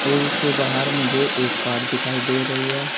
और इसके बाहर मुझे एक कार दिखाई दे रही है।